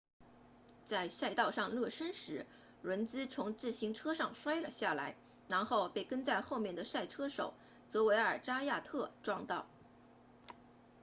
在赛道上热身时伦茨 lenz 从自行车上摔了下来然后被跟在后面的赛车手泽维尔扎亚特 xavier zayat 撞到